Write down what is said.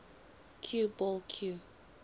cue ball cue